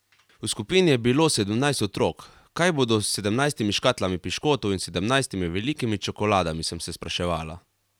V skupini je bilo sedemnajst otrok, kaj bodo s sedemnajstimi škatlami piškotov in sedemnajstimi velikimi čokoladami, sem se spraševala.